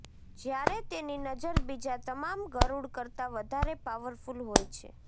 જ્યારે તેની નજર બીજા તમામ ગરુડ કરતાં વધારે પાવરફુલ હોય છે